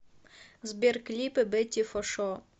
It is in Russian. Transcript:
сбер клипы бетти фо шо